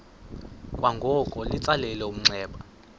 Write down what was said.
kwangoko litsalele umnxeba